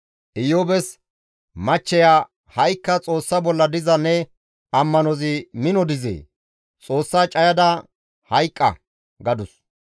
Iyoobes machcheya, «Ha7ikka Xoossa bolla diza ne ammanozi mino dizee? Xoossa cayada hayqqa!» gadus.